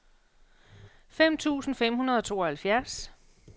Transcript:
fem tusind fem hundrede og tooghalvfjerds